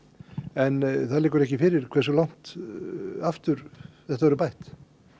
en það liggur ekki fyrir hversu langt aftur verður bætt